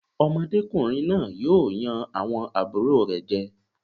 Ọmọdékùnrin náà yóò yan àwọn àbúrò rẹ̀ jẹ.